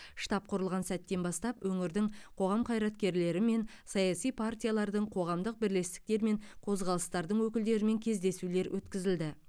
штаб құрылған сәттен бастап өңірдің қоғам қайраткерлерімен саяси партиялардың қоғамдық бірлестіктер мен қозғалыстардың өкілдерімен кездесулер өткізілді